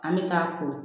An bɛ taa ko